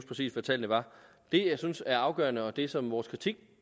præcis hvad tallene er det jeg synes er afgørende og det som vores kritik